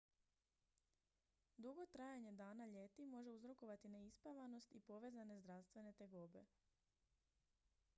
dugo trajanje dana ljeti može uzrokovati neispavanost i povezane zdravstvene tegobe